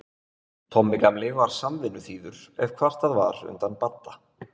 Tommi gamli var samvinnuþýður ef kvartað var undan Badda.